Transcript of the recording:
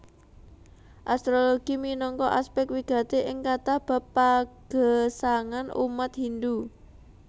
Astrologi minangka aspèk wigati ing kathah bab pagesangan umat Hindu